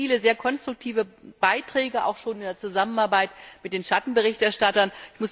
Das waren ja viele sehr konstruktive Beiträge, auch schon in der Zusammenarbeit mit den Schattenberichterstattern.